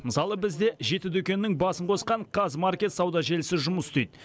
мысалы бізде жеті дүкеннің басын қосқан қазмаркет сауда желісі жұмыс істейді